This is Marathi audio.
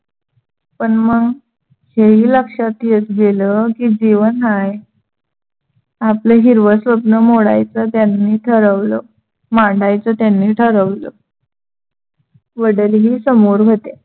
पण मग हेही लक्षात येत गेलं, की जेवण हाय. आपलं हिरवं स्वप्न मोडायच त्यांनी ठरवलं. मांडायच त्यांनी ठरवलं. वडीलही समोर होते.